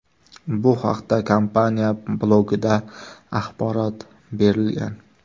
Bu haqda kompaniya blogida axborot berilgan .